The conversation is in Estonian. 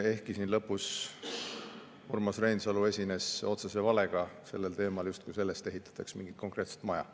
Ehkki siin lõpus Urmas Reinsalu esines otsese valega sellel teemal, justkui selle ehitataks mingit konkreetset maja.